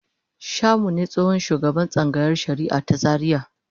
Shamu ne tsohon shugaban tsangayar shari'a ta Zariya.